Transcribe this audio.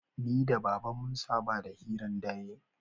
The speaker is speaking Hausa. Ni da baba mun saba da hiran dare